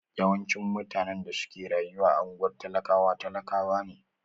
Yawanci mutane da suke rayuwa a unguwar talakawa talakawa ne.